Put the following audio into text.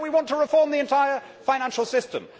And now we want to reform the entire financial system.